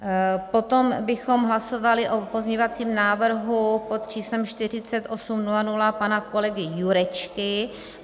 Potom bychom hlasovali o pozměňovacím návrhu pod číslem 4800 pana kolegy Jurečky.